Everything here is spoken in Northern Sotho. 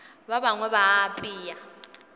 ba bangwe ba a apea